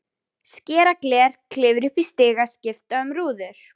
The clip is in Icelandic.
Skera gler, klifra upp í stiga, skipta um rúður.